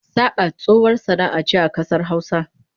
Saƙa tsohuwar sana'a ce a ƙasar Hausa.